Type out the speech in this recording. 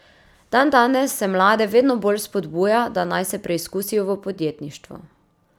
Dandanes se mlade vedno bolj spodbuja, da naj se preizkusijo v podjetništvu.